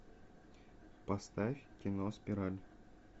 поставь кино спираль